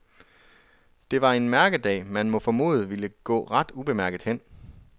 Det var en mærkedag man må formode vil gå ret ubemærket hen.